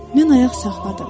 Mən ayaq saxladım.